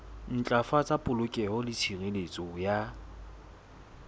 ntlafatsa polokeho le tshireletso ya